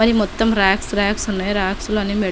మరి మొత్తం rocks rocks ఉన్నాయి.రాక్స్ లోని మేడిస--